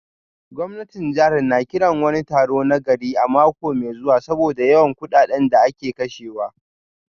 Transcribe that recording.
Gwamnatin jihar na kiran wani taro na gari a mako mai zuwa saboda yawan kudaden da ake kashewa